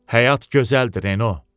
Həyat gözəldir, Reno.